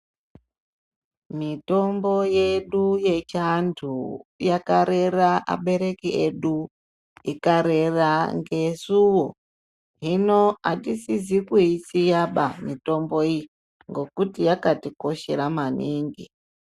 Mitombo yedu yechantu yakarera abereki edu, ikarera ngesuwo. Hino hatisisi kuyisiya ba mitombo iyi ngokuti yakatikoshera maningi.